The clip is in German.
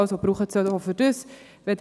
also sollen sie dafür gebraucht werden.